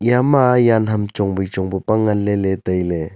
ema yaan ham chongwai chong pu pa ngan leley tailey.